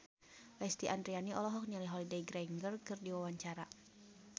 Lesti Andryani olohok ningali Holliday Grainger keur diwawancara